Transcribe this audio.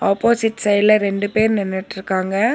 Opposite சைடுல ரெண்டு பேர் நின்னுட்ருக்காங்க.